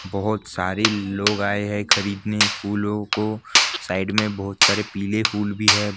बहोत सारी लोग आये है खरीदने फूलों को साइड मे बहोत सारे पीले फूल भी है--